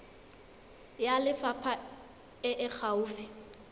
ya lefapha e e gaufi